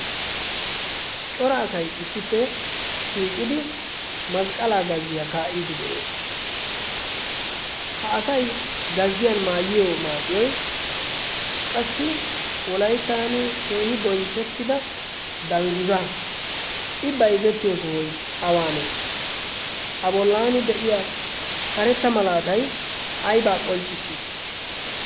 Cora asay issippe shiiqidi masqqalaa gazziya kaa'iiddi de'ees. Ha asay gazziyan maayiyo maayoy qassi Wolayttan keehi bonchchettida dangguzaa. I bayzettiyo sohoy awaanee? A bollaani de'iya karetta malaatay aybaa qonccissii?